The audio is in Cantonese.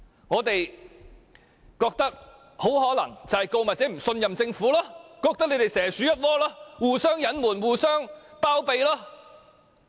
我認為原因很可能是告密者不信任政府，認為政府與港鐵公司蛇鼠一窩，互相隱瞞，互相包庇。